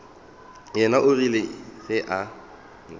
yena o ile ge a